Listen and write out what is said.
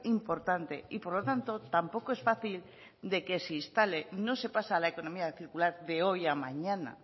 importante y por lo tanto tampoco es fácil de que se instale no se pasa a la economía circular de hoy a mañana